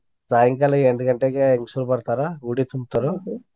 ಸಾಯಂಕಾಲ ಎಂಟ್ ಗಂಟೆಗೆ ಹೆಂಗ್ಸುರ್ ಬರ್ತಾರ ಉಡಿ ತುಂಬ್ತಾರು.